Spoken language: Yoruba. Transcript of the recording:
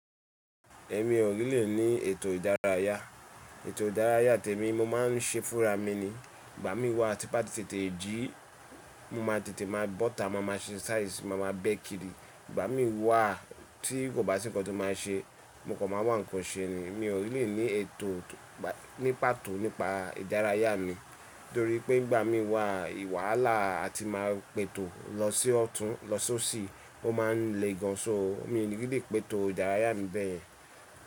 Èmi ò really ní ètò ìdárayá. Ètò ìdárayá tèmi mo máa ń ṣe fúnra mi ni. Ìgbà mí wá ti bàti tètè jí, mo ma tètè má bọ́ta, mo ma ṣe exercise, mo ma bẹ́ kiri. Ìgbà mí wá tí kò bá sí nǹkan tí máa ṣe, mo kò máa wà nǹkan ṣe ni. Mi ò really ní eto ni pàtó nípa ìdárayá mi torí pé ìgbà mi wá wàhálà a ti ma pètò lọ sí ọ̀tún lọ sí òsì, ó ma n lè gan an so. Mi ò lè gídí pètò ìdárayá mi bẹ́ẹ̀.